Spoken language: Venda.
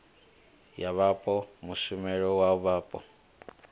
ya vhapo mushumela wa vhapo